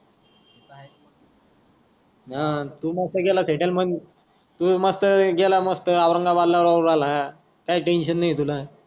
आह तू मस्त केला सेटल तु मस्त गेला मस्त ओरंगाबाद ला राहून राहिला काही टेन्शन नाही तुला.